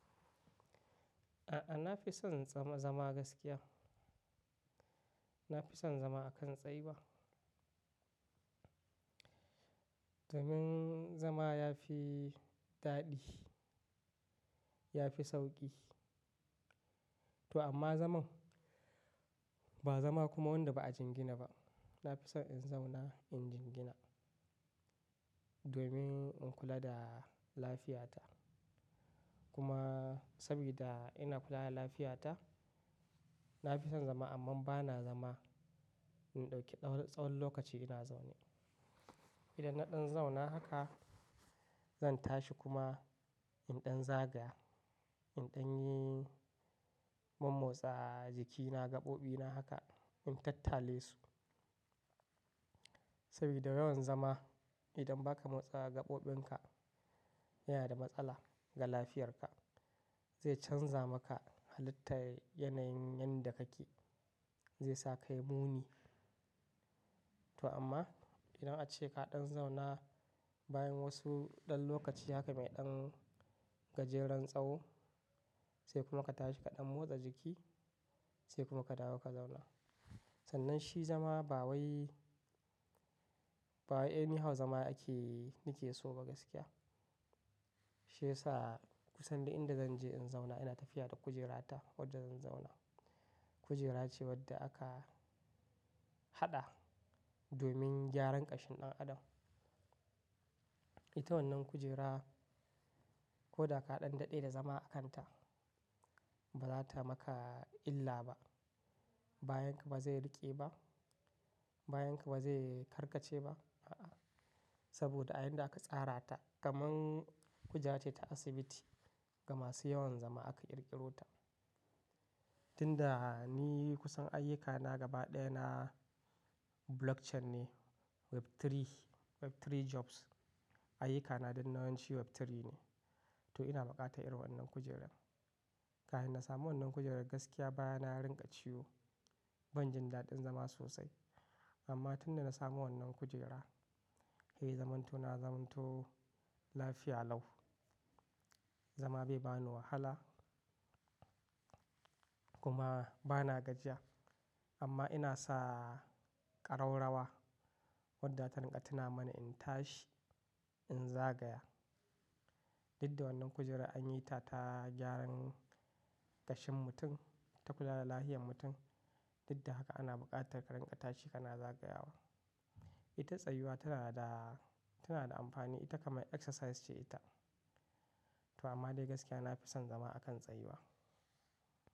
A'a, na fi son zama gaskiya. Na fi son zama a kan tsayuwa. Domin zama ya fi daɗi, ya fi sauƙi. To amma zaman, ba zama kuma wanda ba a jingina ba. Na fi son in zauna in jingina domin in kula da lafiyata. Kuma saboda ina kula da lafiyata, na fi son zama amma ba na zama in ɗauki tsawon lokaci ina zaune. Idan na ɗan zauna haka, zan tashi kuma in ɗan zagaya, in ɗan yi mun motsa jikina, gaɓoɓina haka in tattale su. Saboda yawan zama idan ba ka motsa gaɓoɓinka, yana da matsala ga lafiyarka. Zai canza maka halittar yanayin yanda kake, zai sa ka yi muni. To amma idan ace ka ɗan zauna bayan wasu ɗan lokaci haka mai ɗan gajeren tsawi sai kuma ka tashi ka ɗan motsa jiki sai kuma ka dawo ka zauna. Sannan shi zama bawai, bawai anyhow zama ake, ni ke so ba gaskiya. Shi yasa kusan duk inda zan je in zauna ina tafiya da kujerata wadda zan zauna. Kujera ce wadda aka haɗa domin gyaran ƙashin ɗan adam. Ita wannan kujera ko da ka ɗan daɗe da zama a kanta, ba za ta maka illa ba. Bayanka ba zai riƙe ba, bayanka ba zai karkace ba. A'a. Saboda a inda aka tsara ta kamar kujera ce ta asibiti. Ga masu yawan zama aka ƙirƙiro ta. Tunda ni kusan ayyukana gaba ɗaya na blockchain ne, web3, web3 jobs. Ayyukana din na yawanci web3 ne. To ina buƙatar irin wannan kujerar. Kafin na samu wannan kujerar gaskiya baya na ya rinƙa ciwo, ban jin daɗin zama sosai. Amma tun da na samu wannan kujera, he ya zamanto na zamanto lafiya lau. Zama bai bani wahala kuma ba na gajiya. Amma ina sa ƙararrawa wadda ta rinƙa tuna mana in tashi, in zagaya. Didda wannan kujerar an yi ta ta gyaran ƙashin mutum, ta kula da lafiyan mutum. Dida haka ana buƙatar ka rinƙa tashi ka na zagayawa. Ita tsayuwa tana da, tana da amfani. Ita kamar exercise ce ita. To amma dai gaskiya na fi son zama a kan tsayuwa.